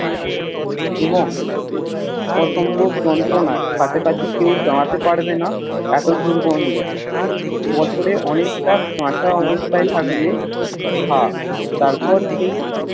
এবং অসম্ভব যন্ত্রণার কাছে কেও দাড়াতে পেরবেনা এত দুর্গন্ধ বছরে অনেকটা কাঁচা অবস্তায় থাকবে ঘা তারপর সেই